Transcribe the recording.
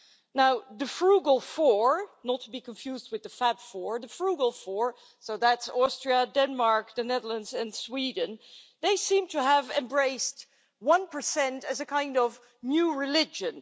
Now the frugal four not to be confused with the Fab Four the frugal four, that's Austria, Denmark, the Netherlands and Sweden, seem to have embraced one percent as a kind of new religion.